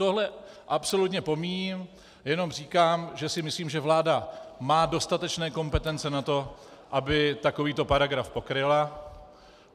Tohle absolutně pomíjím, jen říkám, že si myslím, že vláda má dostatečné kompetence na to, aby takovýto paragraf pokryla.